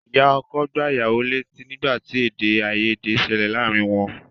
Ìyá ọkọ gbá ìyàwó létí nígbà tí èdè-àìyèdè ṣẹlẹ̀ láàárín wọn.